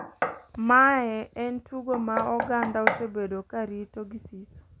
Mae en tugo ma oganda osebedo ka rito gi siso